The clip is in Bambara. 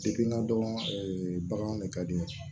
n ka dɔn bagan de ka di n ye